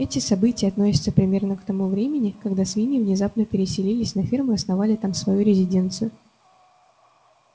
эти события относятся примерно к тому времени когда свиньи внезапно переселились на ферму и основали там свою резиденцию